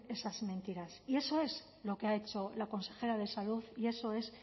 esas mentiras y eso es lo que ha hecho la consejera de salud y eso es